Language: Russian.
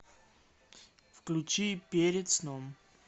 включи перед сном